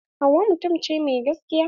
Hauwa mutum ce mai gaskiya.